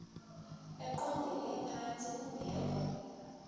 eqondele phantsi kungekho